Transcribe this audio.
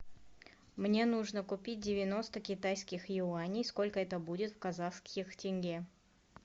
мне нужно купить девяносто китайских юаней сколько это будет в казахских тенге